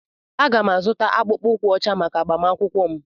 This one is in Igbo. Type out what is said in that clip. Aga m-azụta akpụkpọ ụkwụ ọcha maka agbamakwụkwọ m.